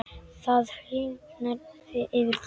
Það hýrnar yfir Klöru.